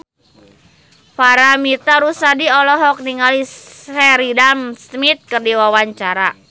Paramitha Rusady olohok ningali Sheridan Smith keur diwawancara